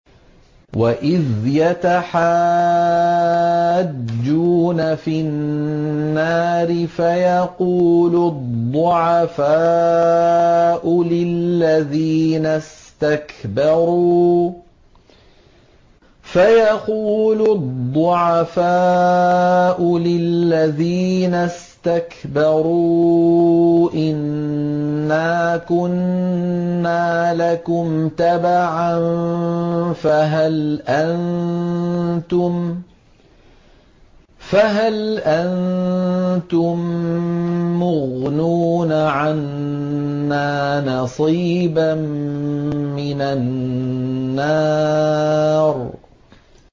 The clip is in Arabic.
وَإِذْ يَتَحَاجُّونَ فِي النَّارِ فَيَقُولُ الضُّعَفَاءُ لِلَّذِينَ اسْتَكْبَرُوا إِنَّا كُنَّا لَكُمْ تَبَعًا فَهَلْ أَنتُم مُّغْنُونَ عَنَّا نَصِيبًا مِّنَ النَّارِ